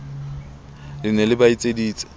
le ne le ba etseditse